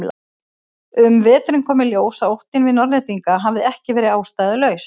Um veturinn kom í ljós að óttinn við Norðlendinga hafði ekki verið ástæðulaus.